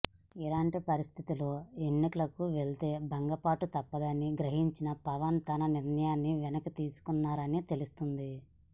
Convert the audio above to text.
ఇలాంటి పరిస్థితుల్లో ఎన్నికలకు వెళ్తే భంగపాటు తప్పదని గ్రహించిన పవన్ తన నిర్ణయాన్ని వెనక్కి తీసుకున్నారని తెలుస్తోంది